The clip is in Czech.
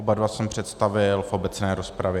Oba dva jsem představil v obecné rozpravě.